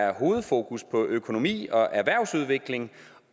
er hovedfokus på økonomi og erhvervsudvikling